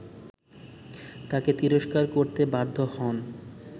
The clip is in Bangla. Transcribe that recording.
তাকে তিরস্কার করতে বাধ্য হন